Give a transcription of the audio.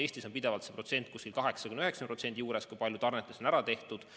Eestis on pidevalt see protsent 80–90 juures, kui palju tarnetest on ära kasutatud.